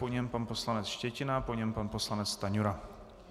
Po něm pan poslanec Štětina, po něm pan poslanec Stanjura.